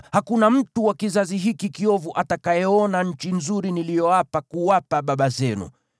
“Hakuna mtu wa kizazi hiki kiovu atakayeona nchi nzuri niliyoapa kuwapa baba zenu,